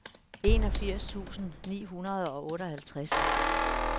enogfirs tusind ni hundrede og otteoghalvtreds